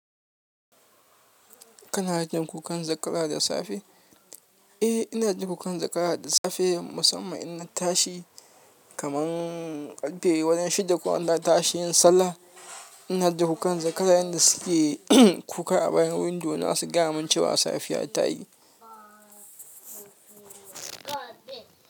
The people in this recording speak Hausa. Kana jin kukan zakara da safe? Eh, ina duba ƙwan zakara da safe musamman in na tashi kaman ƙarfe wurin shida ko Allah ya tashe ni sallah. Ina jin kokan zakara yanda suke kuka a bayan window na su gaya ma cewa safiya ta yi.